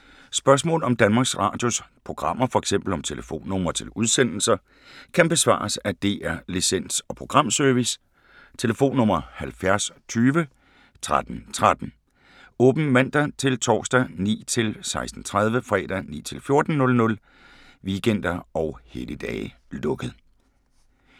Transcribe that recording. Spørgsmål om Danmarks Radios programmer, f.eks. om telefonnumre til udsendelser, kan besvares af DR Licens- og Programservice: tlf. 70 20 13 13, åbent mandag-torsdag 9.00-16.30, fredag 9.00-14.00, weekender og helligdage: lukket.